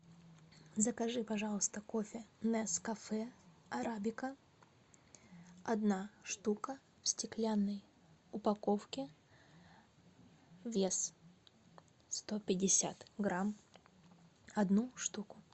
закажи пожалуйста кофе нескафе арабика одна штука в стеклянной упаковке вес сто пятьдесят грамм одну штуку